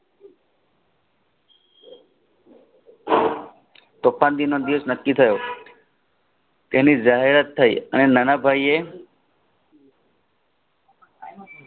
તોફાનગીનો ઇવ્સ નકી થયો તેની જાહેરાત થાય અને નાનાભાઈ એ